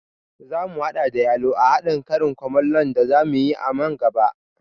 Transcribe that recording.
Zamu haɗa da yalo a haɗin karin kumallon da zamu yi a man gaba